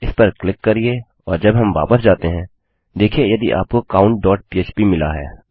इस पर क्लिक करिये और जब हम वापस जाते हैं देखिये यदि आपको countपह्प मिला है